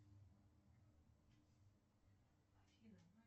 афина